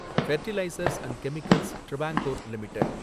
fertilisers and chemicals Travancore limited